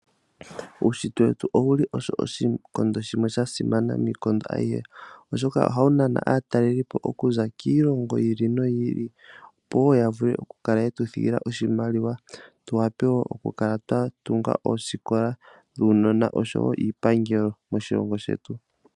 Uushitwe wetu owuli oshikondo shimwe shasimana miikondo ayihe, oshoka ohawu nana aatalelipo okuza kiilongo yi ili noyi ili opo wo yavule okukala yetu thigila oshimaliwa tuwape wo okukala twatunga oosikola dhuunona osho wo iipangelo moshilongo shetu.